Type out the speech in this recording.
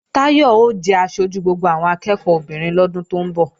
Táyọ̀ ó jẹ aṣojú gbogbo àwọn akẹ́ẹ̀kọ́ obìnrin lọ́dún tó ń bọ̀